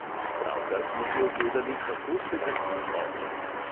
Pravkar smo si ogledali, kako se gasi ogenj.